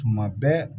Tuma bɛɛ